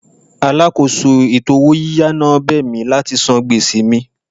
Alákòóso ètò owó yíyá náà bẹ̀ mí láti san gbèsè mi.